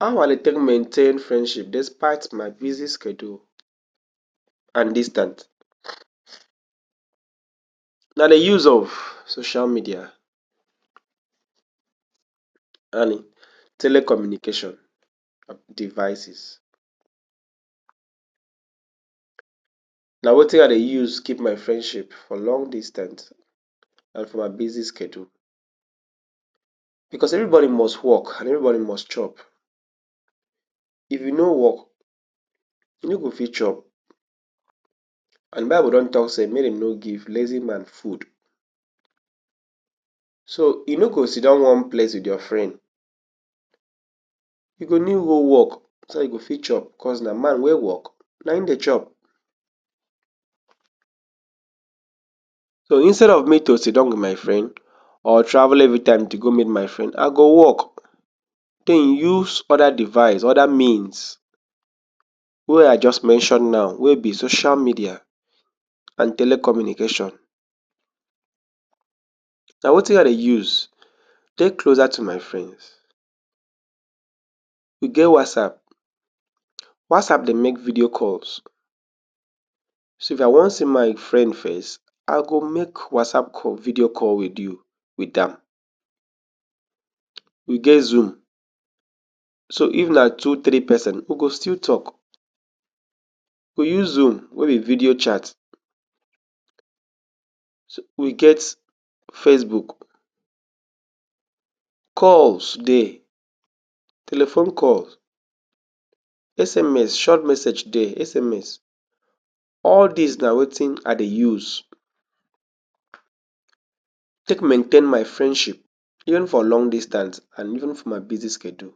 How I dey take maintain frendship despite my busy schedule and distant na de use of social media and telecommunication devices. Na wetin I dey use keep my frendship for long distant and for my busy schedule bcoseverybody must work and everybody must chop if you nor work you nor go fit chop. And bible don talk say make dem nor give lazy man food, so you nor go sit down one place wit your friend you go need go work so dat go fit chop because na man wey work na e dey chop. so instead of me to sit down wit my frend or travel everytime to go meet my frend I go work, den use oda device oda means wey I just mention now wey be social media and telecommunication na wetin I dey use take closer to my frends. E get whatsapp, whatsapp dey make video calls so if I wan see my friend face I go make whatsapp call video call wit you wit am, we get zoom, so if na two three person we go still talk, we use zoom nor be video chat, so we get facebook, calls dey telephone calls, sms, short message dey sms all dis na wetin I dey use take maintain my friendship even for long distant and even for my busy schedule.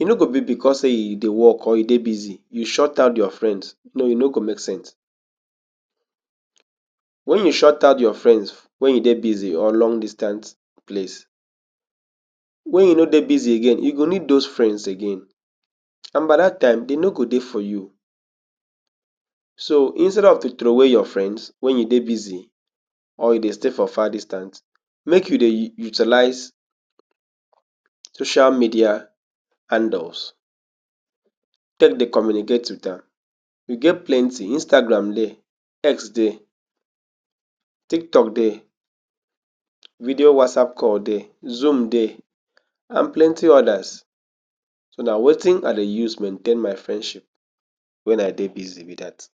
e no go be bcos sey you dey work or you dey busy you shut down frends no, e go make sense wen you shut out your frends wen you dey busy or long distant place wen you nr dey busy again you go need dose frends again and by dat time dem nor go dey for you so instead of to throw wey your friends wen you dey busy or you dey stay for far distant make you dey u utilize social media handles take dey communicate wit am we get plenty, Instagram dey, text dey tiktok dey video whatsapp call dey, zoom dey and plenty odas. so na wetin I dey use maintain my frendship when I dey busy be dat.